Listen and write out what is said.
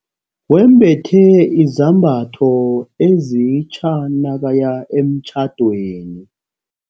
Wembethe izambatho ezitja nakaya emtjhadweni.